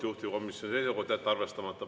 Juhtivkomisjoni seisukoht on jätta arvestamata.